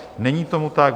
Není tomu tak.